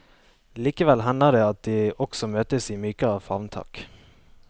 Likevel hender det at de også møtes i mykere favntak.